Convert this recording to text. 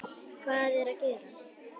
HVAÐ ER AÐ GERAST?